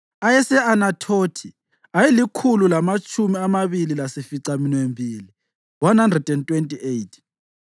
ayese-Anathothi ayelikhulu lamatshumi amabili lasificaminwembili (128),